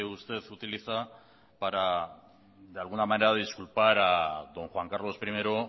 usted utiliza para de alguna manera disculpar a don juan carlos primero